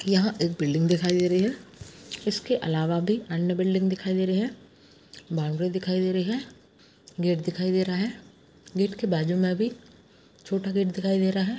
यह एक बिल्डिंग दिखाई दे रही है इसके अलावा भी अन्य बिल्डिंग दिखाई दे रही हैं बौंड़री दिखाई दे रही है गेट दिखाई दे रहा है गेट के बाजू मे भी छोटा गेट दिखाई दे रहा है ।